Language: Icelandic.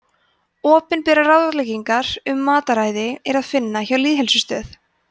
opinberar ráðleggingar um mataræði er að finna hjá lýðheilsustöð